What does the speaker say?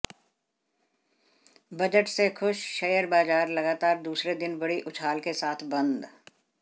budget से खुश share बाज़ार लगातार दूसरे दिन बड़ी उछाल के साथ बंद